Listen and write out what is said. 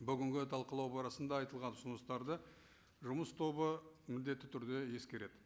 бүгінгі талқылау барысында айтылған ұсыныстарды жұмыс тобы міндетті түрде ескереді